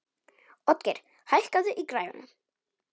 Oddgeir, hækkaðu í græjunum.